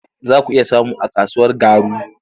Za ku iya samu a kasuwar Garu.